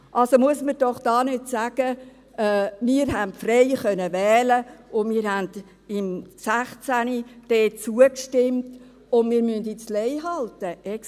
Also muss man doch da nicht sagen, wir hätten frei wählen können, weil wir im 2016 dort zugestimmt haben, sodass wir jetzt Lei halten müssen.